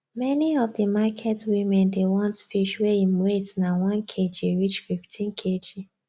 many of the market women dey want fish wey im weight na 1kg reach 15kg